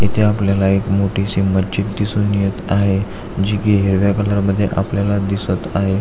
इथे आपल्याला एक मोठी शी मजीद दिसून येत आहे जी की हिरव्या कलर मध्ये आपल्याला दिसत आहे.